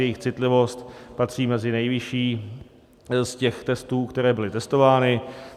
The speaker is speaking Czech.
Jejich citlivost patří mezi nejvyšší z těch testů, které byly testovány.